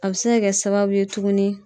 A bɛ se ka kɛ sababu ye tuguni